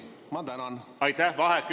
Ma tänan!